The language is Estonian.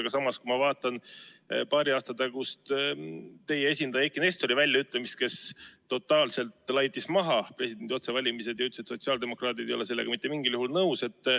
Aga samas, kui ma vaatan teie esindaja Eiki Nestori paari aasta tagust väljaütlemist, siis tema totaalselt laitis presidendi otsevalimised maha ja ütles, et sotsiaaldemokraadid ei ole sellega mitte mingil juhul nõus.